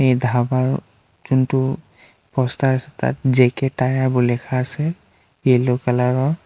এই ধাবা যোনটো প'ষ্টাৰ আছে তাত জে_কে টায়াৰ বুলি লিখা আছে য়েল্লো কালাৰ ৰ।